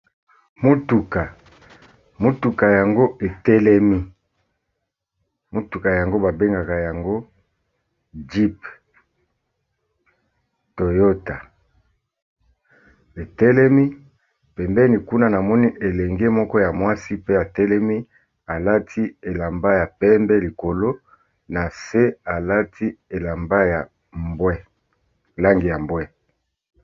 Motuka, motuka yango etelemi. Motuka yango ba bengaka yango jeep toyota etelemi, pembeni kuna na moni elenge moko ya mwasi pe atelemi alati elamba ya pembe likolo na se alati langi ya mbwe.